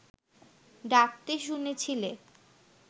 ডাকতে শুনেছিলে